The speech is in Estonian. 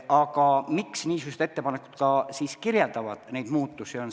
Aga miks niisugused ettepanekud kirjeldavad neid muutusi?